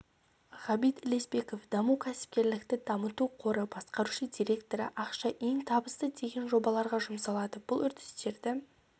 ғабит ілесбеков даму кәсіпкерлікті дамыту қоры басқарушы директоры ақша ең табысты деген жобаларға жұмсалады бұл үрдістерді